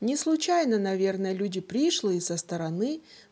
не случайно наверное люди пришлые со стороны